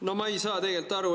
No ma ei saa tegelikult aru.